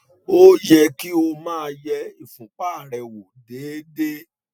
ó yẹ kí o máa yẹ ìfúnpá rẹ wò déédéé